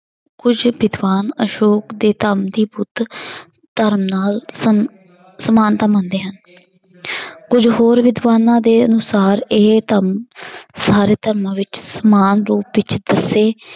ਕੁੱਝ ਵਿਦਵਾਨ ਅਸ਼ੌਕ ਦੇ ਧੰਮ ਦੀ ਬੁੱਧ ਧਰਮ ਨਾਲ ਸਮ~ ਸਮਾਨਤਾ ਮੰਨਦੇ ਹਨ ਕੁੱਝ ਹੋਰ ਵਿਦਵਾਨਾਂ ਦੇ ਅਨੁਸਾਰ ਇਹ ਧੰਮ ਸਾਰੇ ਧਰਮਾਂ ਵਿੱਚ ਸਮਾਨ ਰੂਪ ਵਿੱਚ ਦੱਸੇ